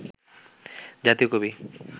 জাতীয় কবি